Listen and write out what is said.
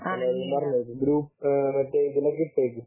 മറ്റേ ഇതിൽ ഒക്കെ ഇട്ടേക്ക്